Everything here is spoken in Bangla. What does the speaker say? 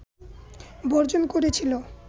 বর্জন করেছিল